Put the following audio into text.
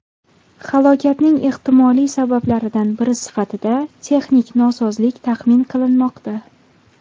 Halokatning ehtimoliy sabablaridan biri sifatida texnik nosozlik taxmin qilinmoqda.